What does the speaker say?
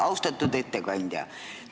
Austatud ettekandja!